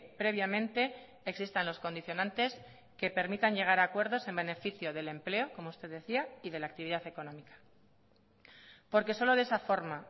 previamente existan los condicionantes que permitan llegar a acuerdos en beneficio del empleo como usted decía y de la actividad económica porque solo de esa forma